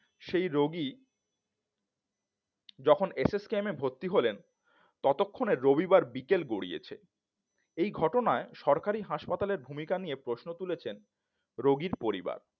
সেই রোগী যখন এস এস কেমে এ ভর্তি হলেন ততক্ষণে রবিবার বিকেল গড়িয়েছে এই ঘটনায় সরকারি হাসপাতালের ভূমিকা নিয়ে প্রশ্ন তুলেছেন রোগীর পরিবার